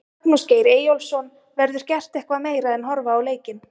Magnús Geir Eyjólfsson: Verður gert eitthvað meira en horfa á leikinn?